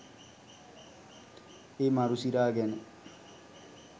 ඒ මරු සිරා ගැන